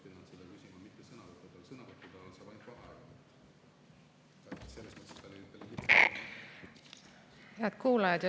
Head kuulajad!